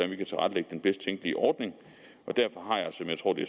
vi kan tilrettelægge den bedst tænkelige ordning og derfor har jeg som jeg tror det